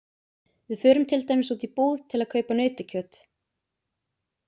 Við förum til dæmis út í búð til að kaupa nautakjöt.